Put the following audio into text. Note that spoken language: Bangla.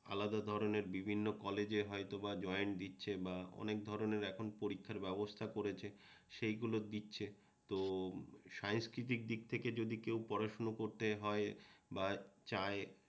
আলাদা ধরণের বিভিন্ন কলেজে হয়তোবা জয়েন্ট দিচ্ছে না অনেক ধরণের এখন পরীক্ষার ব্যবস্থা করেছে সেইগুলো দিচ্ছে তো সাহিত্যিকের দিক থেকে যদি কেউ পড়াশুনো করতে হয় বা চায়